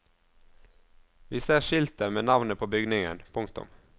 Vi ser skiltet med navnet på bygningen. punktum